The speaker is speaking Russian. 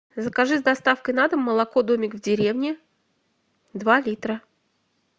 закажи с доставкой на дом молоко домик в деревне два литра